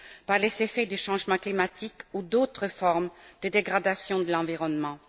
par les effets du changement climatique ou d'autres formes de dégradation de l'environnement.